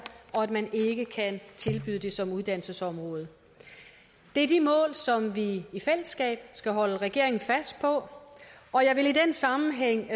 og de ikke kan tilbyde det som uddannelsesområde det er de mål som vi i fællesskab skal holde regeringen fast på og jeg vil i den sammenhæng